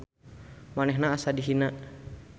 Manehna asa dihina.